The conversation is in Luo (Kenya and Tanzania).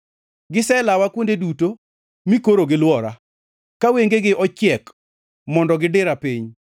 Giselawa kuonde duto, mi koro gilwora, ka wengegi ochiek, mondo gidira piny.